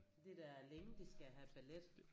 Det er da længe de skal have ballet